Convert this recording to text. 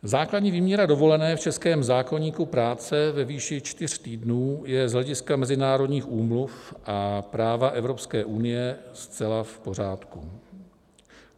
Základní výměra dovolené v českém zákoníku práce ve výši čtyř týdnů je z hlediska mezinárodních úmluv a práva Evropské unie zcela v pořádku.